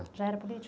Já era político?